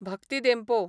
Bhakti Dempo